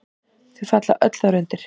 Þau falla öll þar undir.